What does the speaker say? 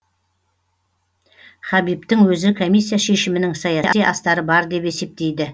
хабибтің өзі комиссия шешімінің саяси астары бар деп есептейді